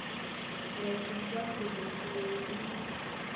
layisense ya provhinsi leyi yi